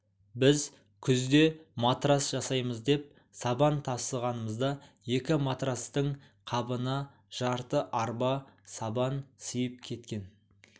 біз күзде матрац жасаймыз деп сабан тасығанымызда екі матрацтың қабына жарты арба сабан сыйып кеткен